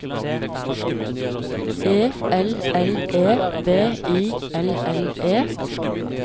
E L L E V I L L E